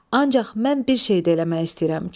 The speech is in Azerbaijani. Ancaq mən bir şey də eləmək istəyirəm."